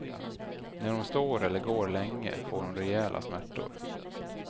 När hon står eller går länge får hon rejäla smärtor.